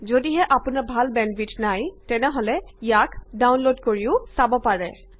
যদিহে আপোনাৰ ভাল বেন্দৱিডথ নাই তেনে আপুনি ইয়া ডাউনলোড কৰিব পাৰে আৰু চাব পাৰে